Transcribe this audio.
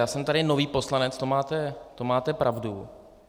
Já jsem tady nový poslanec, to máte pravdu.